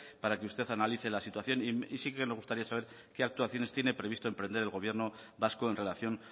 para que usted analice la situación y sí que me gustaría saber qué actuaciones tiene previsto emprender el gobierno vasco en relación